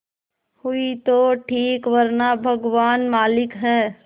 हुई तो ठीक वरना भगवान मालिक है